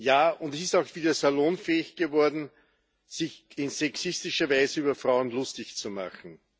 Ja, und es ist auch wieder salonfähig geworden, sich in sexistischer Weise über Frauen lustig zu machen.